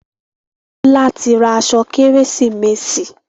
Bola tí ra aṣọ Kérésìmesì.